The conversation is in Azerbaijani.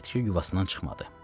Çəyirtkə yuvasından çıxmadı.